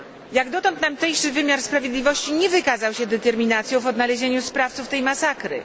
Jak dotąd tamtejszy wymiar sprawiedliwości nie wykazał się determinacją w odnalezieniu sprawców tej masakry.